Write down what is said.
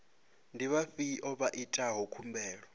ndi vhafhiyo vha itaho khumbelo